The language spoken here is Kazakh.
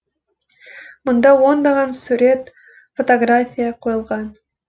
мұнда ондаған сурет фотография қойылған